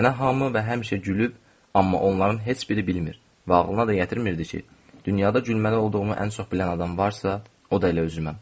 Mənə hamı və həmişə gülüb, amma onların heç biri bilmir və ağlına da yetirmirdi ki, dünyada gülməli olduğumu ən çox bilən adam varsa, o da elə özüməm.